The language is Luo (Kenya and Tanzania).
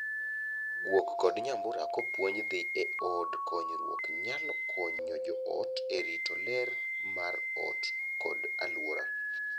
Guok kod nyambura kopuonj dhii e od konyruok nyalo konyo joot e rito ler mar ot kod aluora.